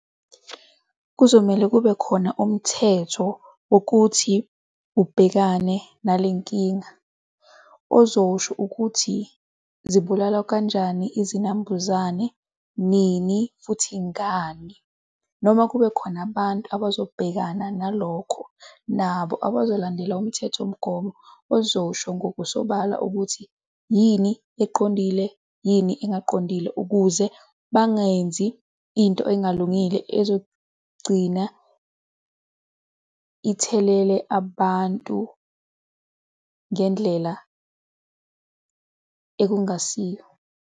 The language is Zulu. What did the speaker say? Kuzomele kubekhona umthetho wokuthi ubhekane nale nkinga ozosho ukuthi zibulalwa kanjani izinambuzane nini futhi ngani noma kubekhona abantu abazobhekana nalokho, nabo abazobalandela umthethomgomo ozosho ngokusobala ukuthi yini eqondile, yini engaqondile, ukuze bangenzi into engalungile ezogcina ithelele abantu ngendlela ekungasiyo.